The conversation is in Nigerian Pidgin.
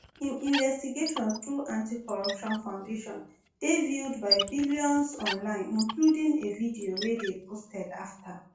im investigations through anti-corruption foundation dey viewed by millions online including a video wey dey posted afta